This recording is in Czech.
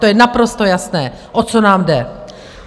To je naprosto jasné, o co nám jde.